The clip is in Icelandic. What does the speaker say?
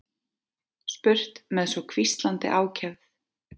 spurt með svo hvíslandi ákefð.